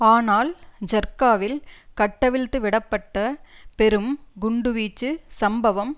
ஆனால் ஜர்க்காவில் கட்டவிழ்த்துவிட பட்ட பெரும் குண்டுவீச்சு சம்பவம்